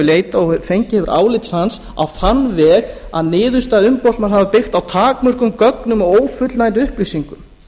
leitað og fengið hefur álit hans á þann veg að niðurstaða umboðsmanns hafi byggt á takmörkuðum gögnum og ófullnægjandi upplýsingum